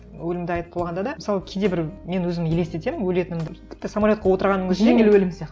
өлімді айтып болғанда да мысалы кейде бір мен өзім елестетемін өлетінімді тіпті самолетқа отырғанның өзінде жеңіл өлім сияқты